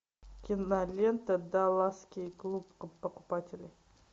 кинолента далласский клуб покупателей